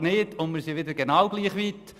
Und jetzt wir sind wieder genau gleich weit.